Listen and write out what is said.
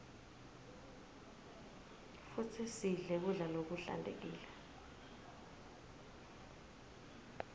futsi sidle kudla lokuhlantekile